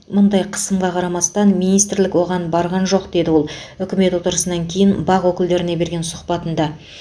мұндай қысымға қарамастан министрлік оған барған жоқ деді ол үкімет отырысынан кейін бақ өкілдеріне берген сұхбатында